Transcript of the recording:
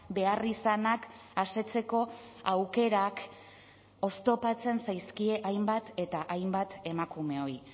beharrizanak asetzeko aukerak oztopatzen zaizkie hainbat eta hainbat emakumeoi